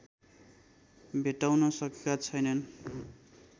भेट्टाउन सकेका छैनन्